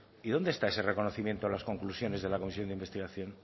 y dónde está ese reconocimiento en las conclusiones de la comisión de investigación